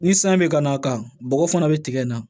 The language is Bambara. Ni san bɛ ka na a kan bɔgɔ fana bɛ tigɛ na